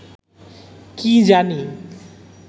কী জানি